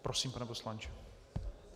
Prosím, pane poslanče.